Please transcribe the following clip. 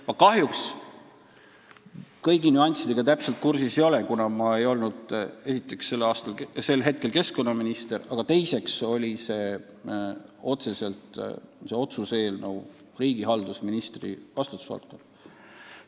Ma kahjuks kõigi nüanssidega täpselt kursis ei ole, kuna esiteks ma ei olnud sel ajal keskkonnaminister ja teiseks oli see otsuse eelnõu otseselt riigihalduse ministri vastutusvaldkond.